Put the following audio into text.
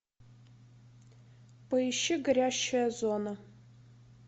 поищи горящая зона